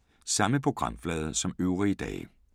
Samme programflade som øvrige dage